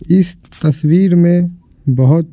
इस तस्वीर में बहुत--